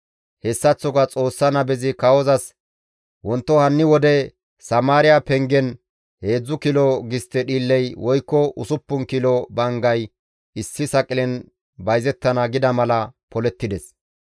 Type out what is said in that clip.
Hessaththoka Xoossa nabezi kawozas, «Wonto hanni wode Samaariya pengen heedzdzu kilo gistte dhiilley woykko usuppun kilo banggay issi saqilen bayzettana» gida mala polettides.